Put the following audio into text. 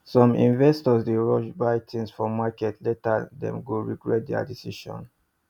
some investors dey rush buy things for market later dem go regret their decision